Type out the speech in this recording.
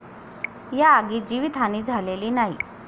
या आगीत जीवितहानी झालेली नाही.